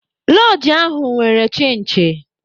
Lọọjị ahụ nwere chinchi.